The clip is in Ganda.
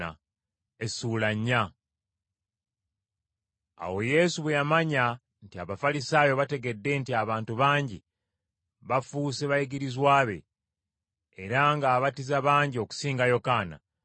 Awo Yesu bwe yamanya nti Abafalisaayo bategedde nti abantu bangi bafuuse bayigirizwa be, era ng’abatiza bangi okusinga Yokaana,